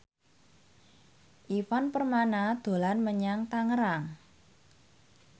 Ivan Permana dolan menyang Tangerang